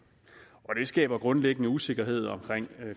og det skaber grundlæggende usikkerhed omkring